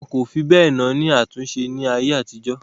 Wọn kò fi bẹ́ẹ̀ náání àtúnṣe ní ayé àtijó.